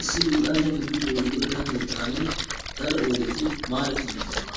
Issi luxanchchati luuxiyoo luxetta keettaan daro oyddeti maarati uttidoosona.